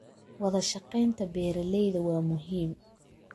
Wadashaqeynta beeralayda waa muhiim.